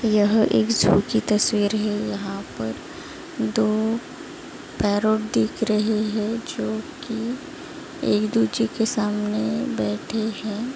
यह एक ज़ू की तस्वीर है। यहा पर दो पैरोट दिख रहे है। जो की एक दूजे के सामने बैठे है।